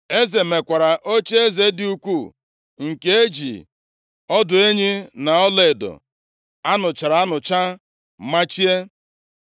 Eze mekwara ocheeze dị ukwu nke e ji ọdụ enyi na ọlaedo a nụchara anụcha machie.